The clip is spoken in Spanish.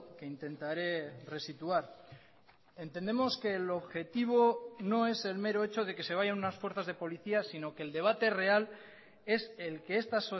que intentaré resituar entendemos que el objetivo no es el mero hecho de que se vayan unas fuerzas de policías sino que el debate real es el que esta